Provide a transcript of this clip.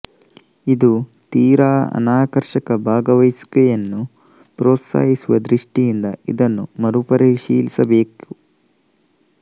ಇದು ತೀರಾ ಅನಾಕರ್ಷಕ ಭಾಗವಹಿಸುವಿಕೆಯನ್ನು ಪ್ರೋತ್ಸಾಹಿಸುವ ದೃಷ್ಟಿಯಿಂದ ಇದನ್ನು ಮರು ಪರಿಶೀಲಿಸಬೇಕು